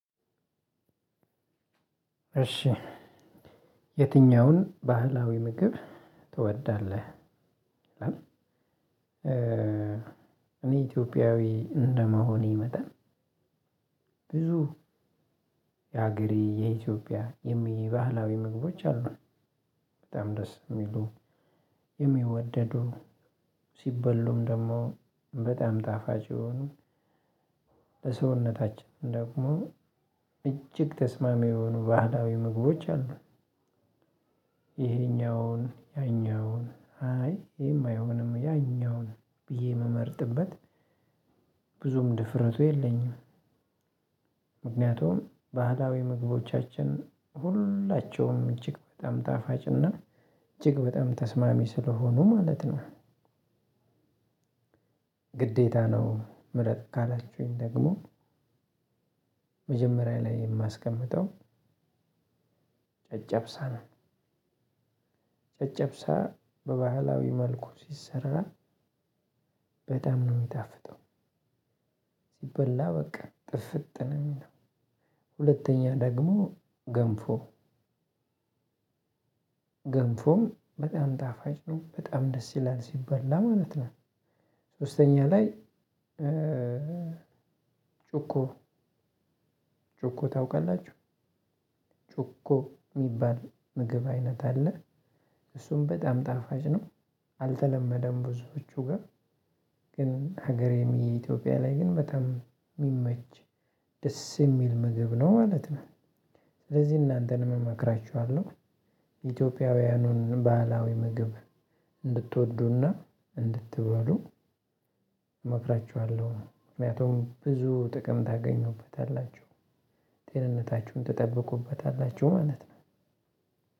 እሺ የትኛውን ባህላዊ ምግብ ትወዳለህ? እኔ ኢትዮጵያዊ እንደመሆኔ መጠን ብዙ የሀገሬ የኢትዮጵያ የሚየ ባህላዊ ምግቦች አሉ በጣም ደስ ሚሉ የሚወደዱ ሲበሉም ደሞ በጣም ጣፋጭ የሆኑ ለሰውነታችን ደግሞ እጅግ ተስማሚ የሆኑ ባህላዊ ምግቦች አሉ። ይሄኛውን ያኛውን አይ ይሄማ አይሆኑም ያኛውን ብየ ምመርጥበት ብዙም ድፍረቱ የለኝም። ምክንያቱም ባህላዊ ምግቦቻችን ሁላቸውም እጅግ በጣም ታፋጭና እጅግ በጣም ተስማሚ ስለሆኑ ማለት ነው። ግዴታ ነው ምረጥ ካላችሁኝ ደግሞ መጀመሪያ ላይ የማስቀምጠው ጨጨብሳ ነው። ጨጨብሳ በባህላዊ መልኩ ሲሰራ በጣም ነው ሚጣፍጠው ሲበላ በቃ ጥፍጥ ነው። ሁለተኛ ደግሞ ገንፎ ገንፎም በጣም ጣፋጭ ነው በጣም ደስ ይላል ሲበላ ማለት ነው። ሶስተኛ ላይ ጮኮ ጮኮ ታውቃላችሁ? ጮኮ ሚባል ምግብ አይነት አለ። እሱም በጣም ጣፋጭ ነው። አልተለመደም ብዙዎቹ ጋ ግን ሀገሬም የኢትዮጵያ ላይ ግን በጣም ሚመች ደስ የሚል ምግብ ነው ማለት ነው። ስለዚህ እናንተን እመክራችኋለሁ ኢትዮጵያውያኑን ባህላዊ ምግብ እንድትወዱና እንድትበሉ እመክራችኋለሁ። ምክንያቱም ብዙ ጥቅም ታገኙበታላችሁ ጤንነታችሁን ትጠብቁበታላችሁ ማለት ነው።